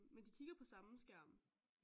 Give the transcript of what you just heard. Men de kigger på samme skærm